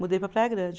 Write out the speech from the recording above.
Mudei para Praia Grande.